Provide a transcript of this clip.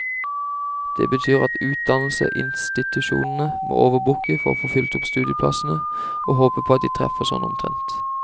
Det betyr at utdannelsesinstitusjonene må overbooke for å få fylt opp studieplassene, og håpe på at de treffer sånn omtrent.